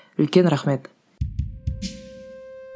үлкен рахмет